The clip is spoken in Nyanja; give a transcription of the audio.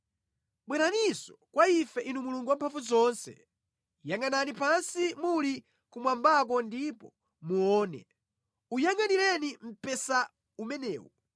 Bweraninso kwa ife Inu Mulungu Wamphamvuzonse! Yangʼanani pansi muli kumwambako ndipo muone! Uyangʼanireni mpesa umenewu,